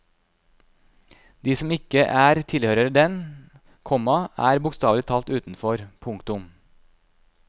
De som ikke er tilhører den, komma er bokstavelig talt utenfor. punktum